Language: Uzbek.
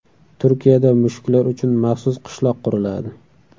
Turkiyada mushuklar uchun maxsus qishloq quriladi.